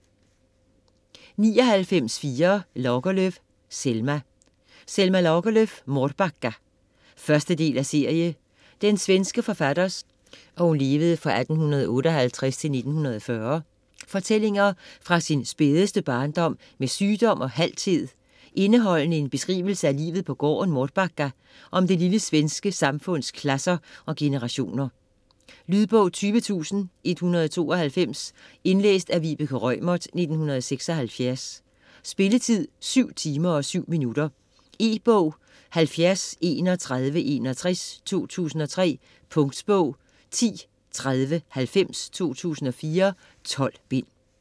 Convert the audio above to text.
99.4 Lagerlöf, Selma Lagerlöf, Selma: Mårbacka 1. del af serie. Den svenske forfatters (1858-1940) fortællinger fra sin spædeste barndom med sygdom og halthed, indeholdende en beskrivelse af livet på gården Mårbacka og om det lille samfunds klasser og generationer. Lydbog 20192 Indlæst af Vibeke Reumert, 1976. Spilletid: 7 timer, 7 minutter. E-bog 703161 2003. Punktbog 103090 2004.12 bind.